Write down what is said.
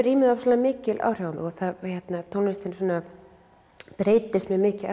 rýmið ofsalega mikil áhrif á mig og tónlistin svona breytist mjög mikið